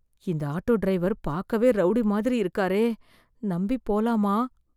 இந்த auto driver பார்க்கவே rowdy மாதிரி இருக்காரே, நம்பி போலாமா?